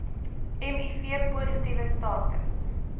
miv positiewe status